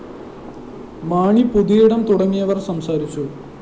മാണി പുതിയിടം തുടങ്ങിയവര്‍ സംസാരിച്ചു